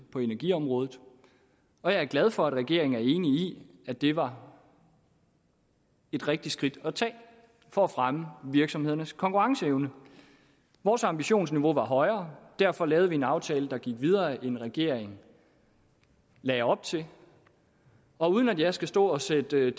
på energiområdet og jeg er glad for at regeringen er enig i at det var et rigtigt skridt at tage for at fremme virksomhedernes konkurrenceevne vores ambitionsniveau var højere derfor lavede vi en aftale der gik videre end regeringen lagde op til og uden at jeg skal stå og sætte